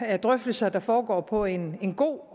er drøftelser der foregår på en god